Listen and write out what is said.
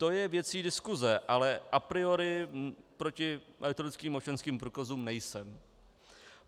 To je věcí diskuse, ale a priori proti elektronickým občanským průkazům nejsem.